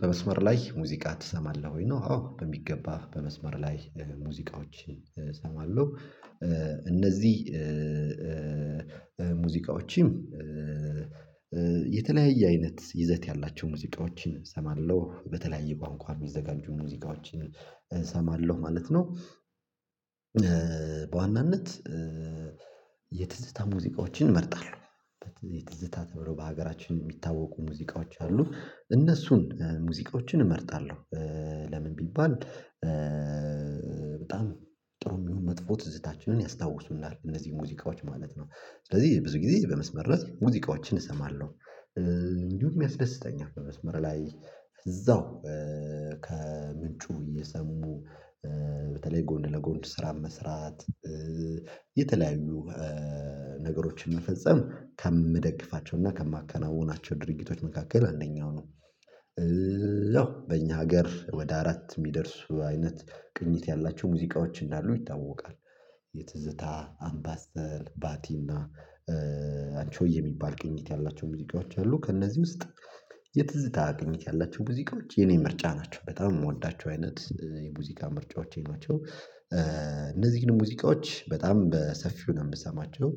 በመስመር ላይ ሙዚቃ ትሰማለህ ወይ ነው? አዎ በሚገባ በመስመር ላይ ሙዚቃዎች እሰማለሁ እነዚህ ሙዚቃዎችም የተለያየ አይነት ይዘት ያላቸው ሙዚቃዎችን እሰማለሁ በተለያየ ቋንቋ የሚዘጋጁ ሙዚቃዎችን እሰማለሁ ማለት ነው። በዋናነት የትዝታ ሙዚቃዎችን እመርጣለሁ የትዝታ ተብሎ በሀገራችን የሚታወቁ ሙዚቃዎች አሉ እነሱን ሙዚቃዎችን እመርጣለሁ ለምን ቢባል በጣም ጥሩም ይሁን መጥፎ ትዝታችንን ያስታውሱናል እነዚህ ሙዚቃዎች ማለት ነው። ስለዚህ ብዙ ጊዜ በመስመር ላይ ሙዚቃዎችን እሰማለሁ። እንዲሁም ያስደስተኛል በመስመር ላይ እዛው ከምንጩ እየሰሙ በተለይ ጎን ለጎን ስራም መስራት የተለያዩ ነገሮችን መፈጽም ከምደግፋቸው እና ከማከናወናቸው ድርጊቶች መካከል አንደኛው ነው። ያው በእኛ ሀገር ወደ አራት የሚደርሱ አይነት ቅኝት ያላቸው ሙዚቃዎች እንዳሉ ይታወቃል። የትዝታ አምባሰል ባቲና አንቺሆዬ የሚባል ቅኝት ያላቸው ሙዚቃዎች አሉ ከእነዚህ ውስጥ የትዝታ ቅኝት ያላቸው ሙዚቃዎች የኔ ምርጫ ናቸው በጣም የምወዳቸው አይነት የሙዚቃ ምርጫዎቼ ናቸው። እነዚህን ሙዚቃዎች በጣም በሰፊው ነው የምሰማቸው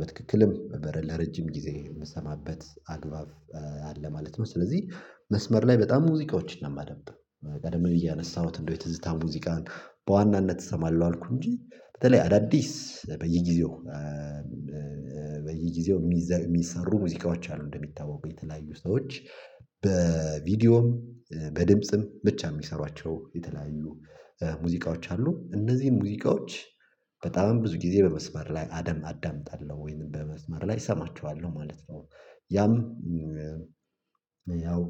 በትክክልም በረን ለረጅም ጊዜ የምሰማበት አግባብ አለ ማለት ነው። ስለዚህ መስመር ላይ በጣም ሙዚቃዎችን ነው የማደምጠው። ቀደም እያነሳሁት እንደው የትዝታ ሙዚቃን በዋናነት እሰማለሁ አልኩ እንጂ በተለይ አዳዲስ በየጊዜው በየጊዜው የሚሰሩ ሙዚቃዎች አሉ እንደሚታወቁ የተለያዩ ሰዎች በቪዲዮም በድምጽም ብቻ የሚሰሯቸው የተለያዩ ሙዚቃዎች አሉ። እነዚህን ሙዚቃዎች በጣም ብዙ ጊዜ በመስመር ላይ አዳምጣለሁ ወይንም በመስመር ላይ እሰማችኋለሁ ማለት ነው። ያም ያው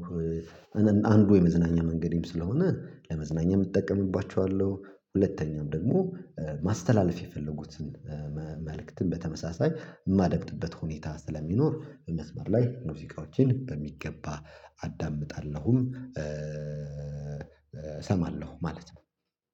አንዱ የመዝናኛ መንገዴም ስለሆነ ለመዝናኛም እጠቀምባቸዋለሁ ሁለተኛም ደግሞ ማስተላለፍ የፈለጉትን መልእክትን በተመሳሳይ የማደምጥበት ሁኔታ ስለሚኖር በመስመር ላይ ሙዚቃዎችን በሚገባ አዳምጣለሁም እሰማለሁ ማለት ነው